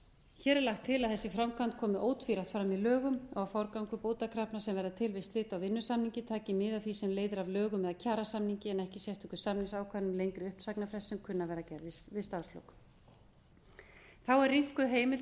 hér er lagt til að þessi framkvæmd komi ótvírætt fram í lögum og forgangur bótakrafna sem verða til við slit á vinnusamningi taki mið af því sem leiðir af lögum eða kjarasamningi en ekki sérstöku samningsákvæði um lengri uppsagnarfresti sem kunna að vera gerðir við starfslok þá er rýmkuð heimild